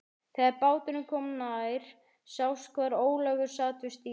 Þegar báturinn kom nær sást hvar Ólafur sat við stýrið.